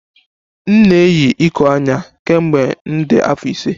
M na-eyi iko anya kemgbe m dị afọ ise